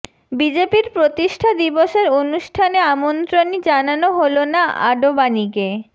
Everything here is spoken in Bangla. বিজেপির প্রতিষ্ঠা দিবসের অনুষ্ঠানে আমন্ত্রণই জানানো হল না আডবাণীকে